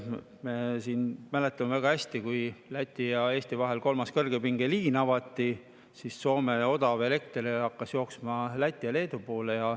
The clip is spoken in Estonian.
Me mäletame väga hästi, kui Läti ja Eesti vahel avati kolmas kõrgepingeliin, siis hakkas Soome odav elekter jooksma Läti ja Leedu poole.